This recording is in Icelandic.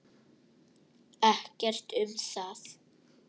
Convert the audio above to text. Ekkert um það.